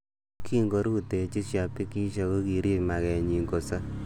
Kin korutechi shabikishek kokirib mageenyin kosob .